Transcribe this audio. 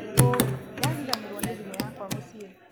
ũĩndariganĩrwo nĩ thimũ yakwa mũciĩ